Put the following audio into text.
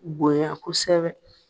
Bonya kosɛbɛ